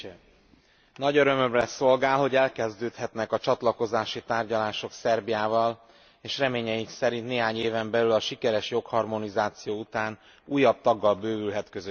Nagy örömömre szolgál, hogy elkezdődhetnek a csatlakozási tárgyalások Szerbiával, és reményeink szerint néhány éven belül, a sikeres jogharmonizáció után újabb taggal bővülhet közösségünk.